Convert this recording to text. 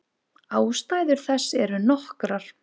Ástæður þess eru nokkrar.